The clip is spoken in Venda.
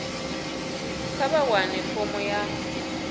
kha vha wane fomo ya